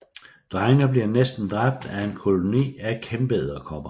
Drengene bliver næsten dræbt af en koloni af kæmpeedderkopper